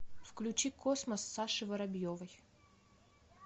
включи космос саши воробьевой